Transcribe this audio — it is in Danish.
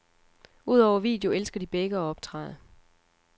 Udover video elsker de begge at optræde.